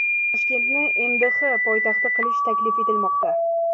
Toshkentni MDH poytaxti qilish taklif etilmoqda.